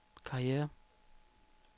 karriere